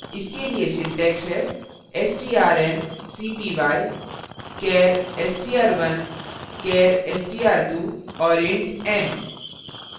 इसके लिए syntax है strncpy char str1 char str2 and int n